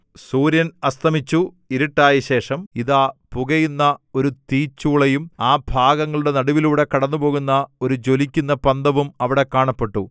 സൂര്യൻ അസ്തമിച്ചു ഇരുട്ടായശേഷം ഇതാ പുകയുന്ന ഒരു തീച്ചൂളയും ആ ഭാഗങ്ങളുടെ നടുവിലൂടെ കടന്നുപോകുന്ന ഒരു ജ്വലിക്കുന്ന പന്തവും അവിടെ കാണപ്പെട്ടു